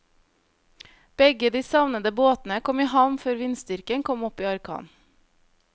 Begge de savnede båtene kom i havn før vindstyrken kom opp i orkan.